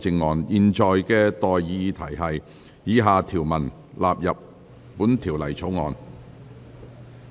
我現在向各位提出的待議議題是：以下條文納入本條例草案。